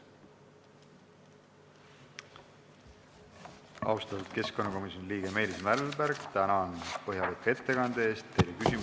Austatud keskkonnakomisjoni liige Meelis Mälberg, tänan põhjaliku ettekande eest!